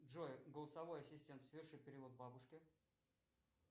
джой голосовой ассистент соверши перевод бабушке